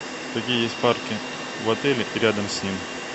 какие есть парки в отеле и рядом с ним